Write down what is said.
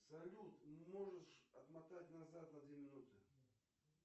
салют можешь отмотать назад на две минуты